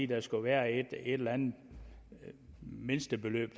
der skulle være et eller andet mindstebeløb